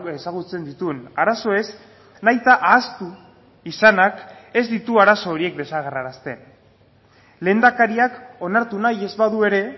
ezagutzen dituen arazoez nahita ahaztu izanak ez ditu arazo horiek desagerrarazten lehendakariak onartu nahi ez badu ere